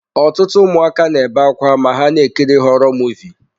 Ọtụtụ ụmụaka na-ebe akwa ma ha na-ekiri họrọ Muvịị.